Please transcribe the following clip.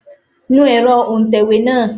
Nu ẹ̀rọ òǹtẹ̀wé náà!